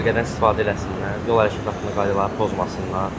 Dəbilqədən istifadə eləsinlər, yol hərəkəti qaydalarını pozmasınlar.